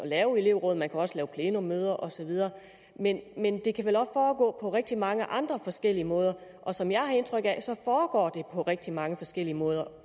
lave elevråd man kan også lave plenummøder og så videre men det kan vel også foregå på rigtig mange andre forskellige måder og som jeg har indtryk af foregår det på rigtig mange forskellige måder